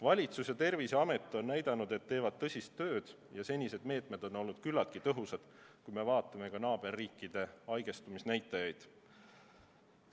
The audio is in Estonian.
Valitsus ja Terviseamet on näidanud, et teevad tõsist tööd, ja senised meetmed on olnud küllaltki tõhusad, kui me vaatame ka naaberriikide haigestumisnäitajaid.